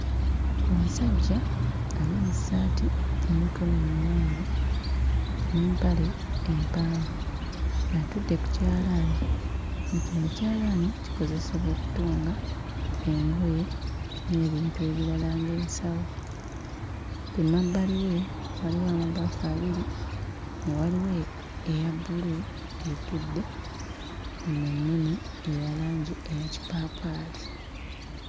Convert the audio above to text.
Omusajja ali mu ssaati ey'emikono emiwanvu n'empale empanvu ng'atudde ku kyalaani, nga kino ekyalaani kikozesebwa okutunga engoye n'ebintu ebirala ng'ensawo. Ku mabbali we waliwo amabaafu abiri nga waliwo eya bbulu etudde mu nnene eya langi eya kipaapaali.